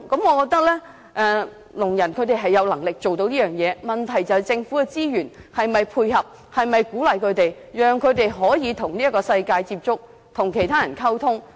我覺得聾人有能力做到雙語，問題是政府的資源是否配合他們的需要，讓他們可以與這個世界接觸、與其他人溝通。